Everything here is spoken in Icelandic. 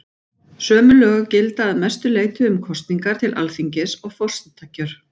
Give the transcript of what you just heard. Sömu lög gilda að mestu leyti um kosningar til Alþingis og forsetakjör.